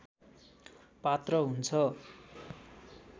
पात्र हुन्छ